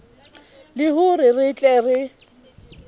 le hore re tle re